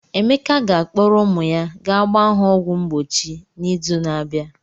Emeka ga-akpọrọ ụmụ ya ga gbaa ha ọgwụ mgbochi n'izu na-abịa.